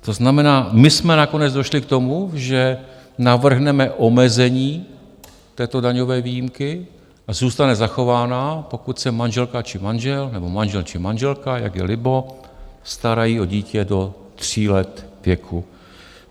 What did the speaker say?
To znamená, my jsme nakonec došli k tomu, že navrhneme omezení této daňové výjimky a zůstane zachována, pokud se manželka či manžel, nebo manžel či manželka, jak je libo, starají o dítě do 3 let věku.